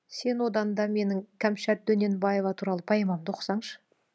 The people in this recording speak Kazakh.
сен одан да менің кәмшат дөненбаева туралы поэмамды оқысаңшы